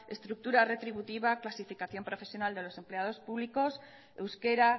estructura retributiva clasificación profesional de los empleados públicos euskera